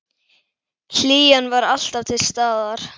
Hlýjan var alltaf til staðar.